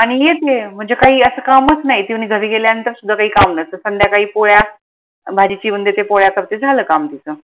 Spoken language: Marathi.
आनि येते म्हनजे काही असं कामच नाई ती म्हने घरी गेल्यानंतर सुद्धा काही काम नसत संध्याकाळी पोळ्या भाजी चिरून देते पोळ्या करते झाला काम तीच